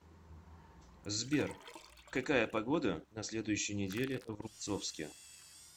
сбер какая погода на следующей неделе в рубцовске